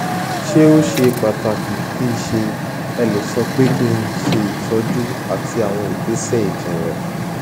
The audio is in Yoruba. ṣé ó ṣe pàtàkìṣé ẹ lè sọ pé kí n ṣe ìtọjú àti àwọn ìgbésè ìjìnlẹ